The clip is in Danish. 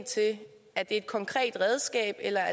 det er et konkret redskab eller